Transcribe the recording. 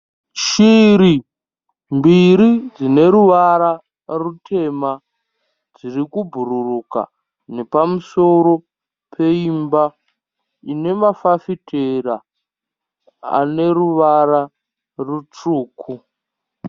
Shiri mbiri dzine ruvara rutema dziri kubhururuka nepamusoro peimba ine mafafitera ane ruwara rutsvuku.